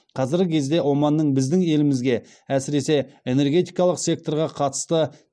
қазіргі кезде оманның біздің елімізге әсіресе энергетикалық секторға қатысты